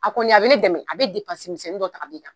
A kɔni a bɛ ne dɛmɛ a bɛ misɛnnin dɔw ta ka bɔ i kan.